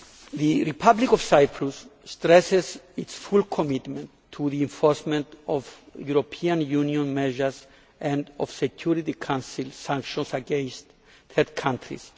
The Republic of Cyprus stresses its full commitment to the enforcement of European Union measures and of Security Council sanctions against third countries.